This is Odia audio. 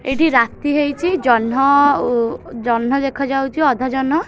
ଏଇଠି ରାତି ହେଇଛି ଜହ୍ନ ଉ ଜହ୍ନ ଦେଖା ଯାଉଛି ଅଧା ଜହ୍ନ।